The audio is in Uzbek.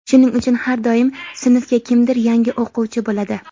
shuning uchun har doim sinfga kimdir yangi o‘quvchi bo‘ladi.